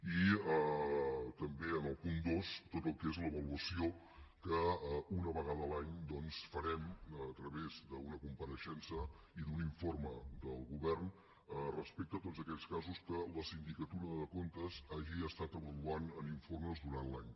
i també al punt dos tot el que és l’avaluació que una vegada a l’any doncs farem a través d’una compareixença i d’un informe del govern respecte a tots aquells casos que la sindicatura de comptes hagi estat avaluant en informes durant l’any